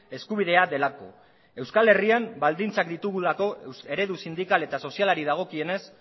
eskubidea delako euskal herrian baldintzak ditugulako eredu sindikal eta sozialari dagokienez